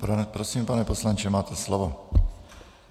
Prosím, pane poslanče, máte slovo.